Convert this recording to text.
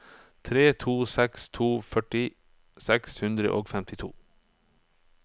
tre to seks to førti seks hundre og femtito